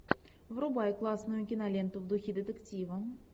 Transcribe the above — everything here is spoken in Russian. врубай классную киноленту в духе детектива